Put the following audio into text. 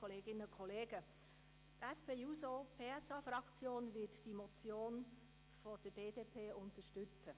Die SP-JUSO-PSA-Fraktion wird die Motion der BDP unterstützen.